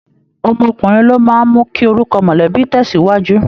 Ọmọkùnrin ló máa ń mú kí orúkọ mọ̀lẹ́bí tẹ̀síwájú